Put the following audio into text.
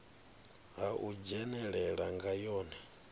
ha u dzhenelela nga yone